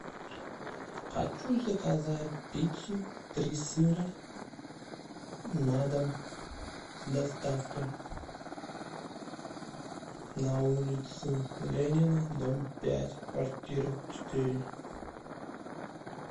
хочу заказать пиццу три сыра на дом с доставкой на улицу ленина дом пять квартира четыре